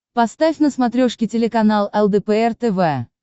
поставь на смотрешке телеканал лдпр тв